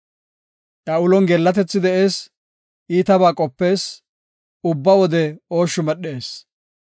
Iya ulon geellatethi de7ees; iitabaa qopees; ubba wode ooshshu medhees.